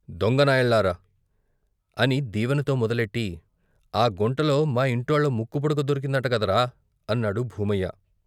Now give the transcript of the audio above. దొంగ నాయాళ్ళలారా! " అని దీవనతో మొదలెట్టి " ఆ గుంటలో మా ఇంటోళ్ళ ముక్కుపుడక దొరికిందంటగదరా " అన్నాడు భూమయ్య.